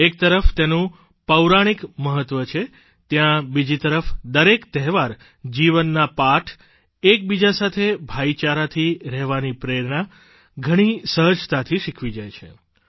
એક તરફ તેનું પૌરાણિક મહત્વ છે ત્યાં બીજી તરફ દરેક તહેવાર જીવનના પાઠ એક બીજા સાથે ભાઇચારાથી રહેવાની પ્રેરણા ઘણી સહજતાથી શીખવી જાય છે